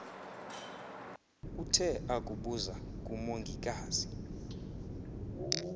uthe akubuza kumongikazi